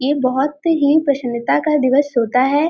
ये बहौत ही प्रसन्ता का दिवस होता है।